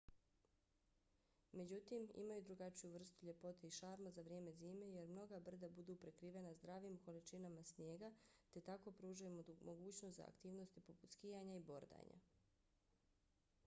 međutim imaju drugačiju vrstu ljepote i šarma za vrijeme zime jer mnoga brda budu prekrivena zdravim količinama snijega te tako pružaju mogućnost za aktivnosti poput skijanja i bordanja